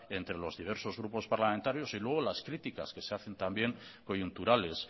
entre los diversos grupos parlamentarios y luego las criticas que se hacen también coyunturales